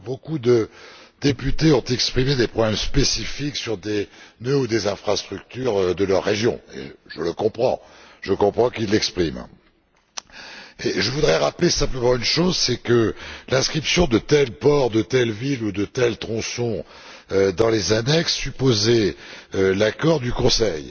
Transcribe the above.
Beaucoup de députés ont exprimé des points spécifiques sur des nœuds ou des infrastructures de leur région et je comprends qu'ils l'expriment. Je voudrais rappeler simplement une chose, c'est que l'inscription de tel port, de telle ville ou de tel tronçon dans les annexes supposait l'accord du Conseil.